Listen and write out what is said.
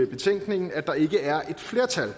betænkningen at der ikke er flertal